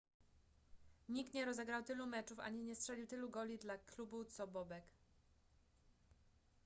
nikt nie rozegrał tylu meczów ani nie strzelił tylu goli dla klubu co bobek